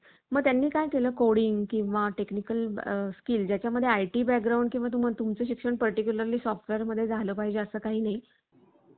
मग त्यांनी काय केलं? coding किंवा technical school ज्याच्या मध्ये IT background किंवा तुम्ही तुमचे शिक्षण particularly software मध्ये झालं पाहिजे असं काही नाही.